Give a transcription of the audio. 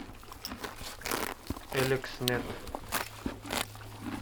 элекснет